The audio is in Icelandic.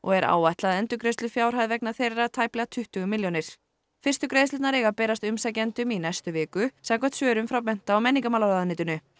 er áætluð endurgreiðslufjárhæð vegna þeirra tæplega tuttugu milljónir fyrstu greiðslurnar eiga að berast umsækjendum í næstu viku samkvæmt svörum frá mennta og menningarmálaráðuneytinu